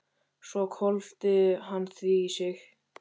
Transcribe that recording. Svo hvolfdi hann því í sig.